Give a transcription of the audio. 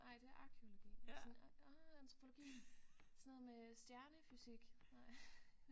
Ej det er arkæologi og sådan ah antropologi sådan noget med stjernefysik nej